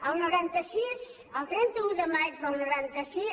el noranta sis el trenta un de maig del noranta sis